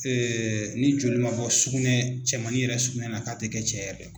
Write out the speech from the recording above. ni joli man bɔ sugunɛ cɛmannin yɛrɛ sugunɛ na k'a tɛ kɛ cɛ yɛrɛ ye.